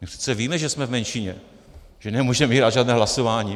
My přece víme, že jsme v menšině, že nemůžeme vyhrát žádné hlasování.